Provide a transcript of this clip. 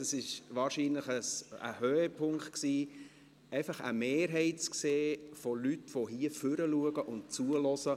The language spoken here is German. Es war wahrscheinlich ein Höhepunkt, eine Mehrheit von Leuten zu sehen, die im Ratssaal nach vorne blicken und zuhören.